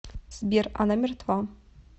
сбер она мертва